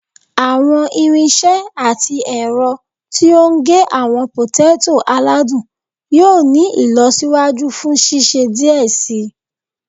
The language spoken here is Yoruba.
Awọn irinṣẹ ati ẹrọ ti o ge awọn poteto aladun yoo ni ilọsiwaju fun ṣiṣe diẹ sii